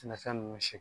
Sɛnɛfɛn ninnu si